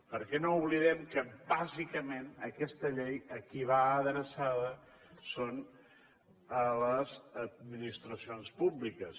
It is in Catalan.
perquè no oblidem que bàsicament aquesta llei a qui va adreçada és a les administracions públiques